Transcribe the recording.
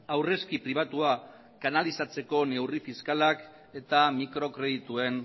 aurrezki pribatua kanalizatzeko neurri fiskalak eta mikrokredituen